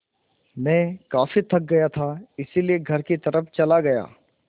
मैं काफ़ी थक गया था इसलिए घर की तरफ़ चला गया